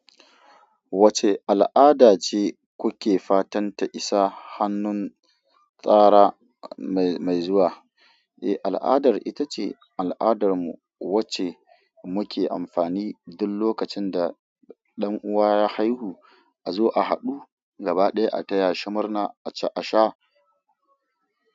Wacce al'ada ce kuke fatanta isa hannu tsara mai zuwa? Eh, al'adar ita ce al'adarmu wacce muke amfani duk lokacin da ɗan uwa ya haihu, a zo a haɗu gaba ɗaya a taya shi murna, aci asha.